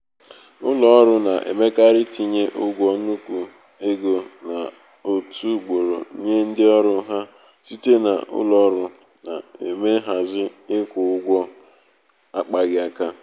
ụlọ ụlọ ọrụ na-emekarị itinye ụgwọ nnukwu ego n'otu ugboro nye ndị ọrụ ha site na ụlọ ọrụ na-eme nhazi ịkwụ ụgwọ akpaghị aka.